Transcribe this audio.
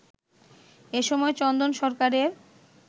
এসময় চন্দন সরকারের